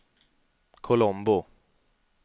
Colombo